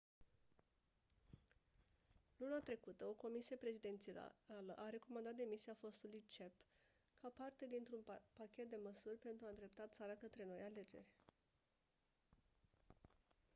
luna trecută o comisie prezidențială a recomandat demisia fostului cep ca parte dintr-un pachet de măsuri pentru a îndrepta țara către noi alegeri